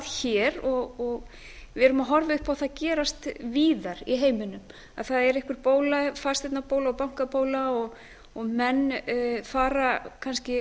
hér og við erum að horfa upp á það gerast víðar í heiminum að það er einhver bóla fasteignabóla og bankabóla og menn ganga kannski